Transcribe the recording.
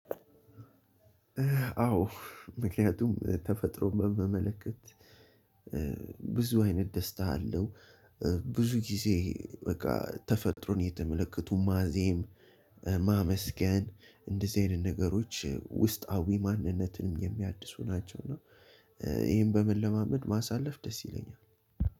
አዎ ምክንያቱም ተፈጥሮ መ መለከት ብዙ አይነት ደስታ አለው። ብዙ ጊዜ በቃ ተፈጥሮን እተመለከቱ ማዜም ማመስገን እንደዚህ አይነት ነገሮች ውስጣዊ ማንነትንም የሚያድሱ ናቸው። እና ይሄን በመለማመድ ማሳለፍ ደስ ይለኛል።